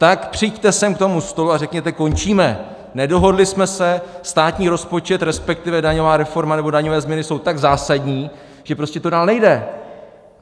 Tak přijďte sem k tomu stolu a řekněte: končíme, nedohodli jsme se, státní rozpočet, respektive daňová reforma nebo daňové změny jsou tak zásadní, že prostě to dál nejde.